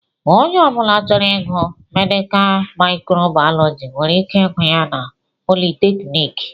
Onye ọbula chọrọ ịgụ Medikal mikro Baalọji nwere ike ịgụ ya na politekniki.